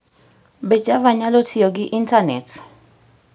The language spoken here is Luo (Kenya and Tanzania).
Be java nyalo tiyo gi Intanet?